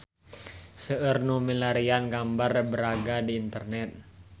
Seueur nu milarian gambar Braga di internet